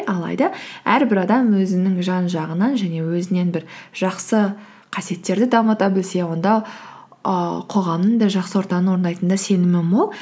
алайда әрбір адам өзінің жан жағынан және өзінен бір жақсы қасиеттерді дамыта білсе онда ііі қоғамның да жақсы ортаның орындайтынын да сенімім мол